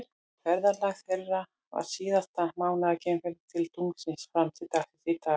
Ferðalag þeirra var síðasta mannaða geimferðin til tunglsins fram til dagsins í dag.